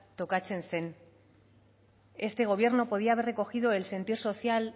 tokatzen zen este gobierno podía haber recogido el sentir social